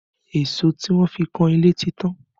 Èso tí wọ́n fi kan ilé ti tán